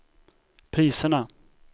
priserna